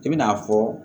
I bina a fɔ